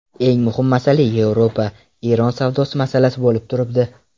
Eng muhim masala Yevropa–Eron savdo masalasi bo‘lib turibdi.